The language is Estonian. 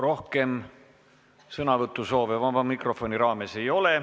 Rohkem sõnavõtusoove vaba mikrofoni raames ei ole.